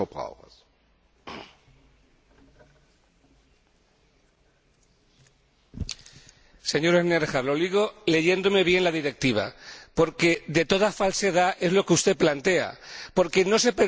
Señor Schnellhardt, lo digo leyéndome bien la Directiva porque de toda falsedad es lo que usted plantea, porque no se permite que se añadan aromas de otras frutas se dice que se añadirán aromas de la misma especie.